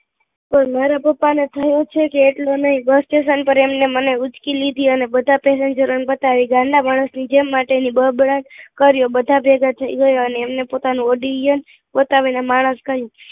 મારા પપ્પા ને થયું છે કે એકલું નહીં બસસ્ટેશન પર એમને મને ઉંચકી લીધી અને બધા pasanger ને એમ બતાવ્યુ ગાંડા માણસ ની જેમ બબડાટ કર્યો બધા ભેગા થઇ ગયા અને એમને પોતાનું વડીલ પોતાનું માણસ કહ્યું